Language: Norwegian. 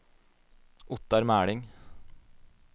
Ottar Meling